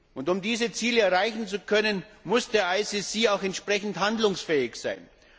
Und um diese Ziele erreichen zu können, muss der IStGH auch entsprechend handlungsfähig sein.